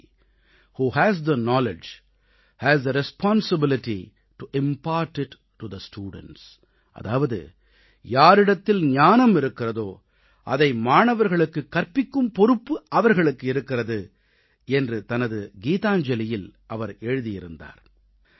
hey who has the knowledge has the responsibility to impart it to the students அதாவது யாரிடத்தில் ஞானம் இருக்கிறதோ அதை மாணவர்களுக்குக் கற்பிக்கும் பொறுப்பு அவர்களுக்கு இருக்கிறது என்று தனது கீதாஞ்சலியில் அவர் எழுதியிருக்கிறார்